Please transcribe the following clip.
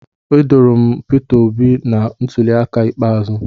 Edoro m Peter obi na ntuli aka ikpeazụ